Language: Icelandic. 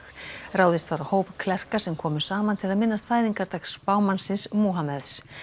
ráðist var á hóp klerka sem komu saman til að minnast fæðingardags spámannsins Múhameðs